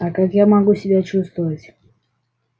а как я могу себя чувствовать